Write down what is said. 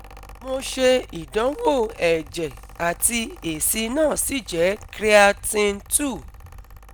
Mo se idanwo eje ati esi na si je cs] creatine two